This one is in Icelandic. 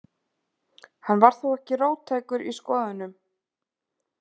Hann var þó ekki róttækur í skoðunum.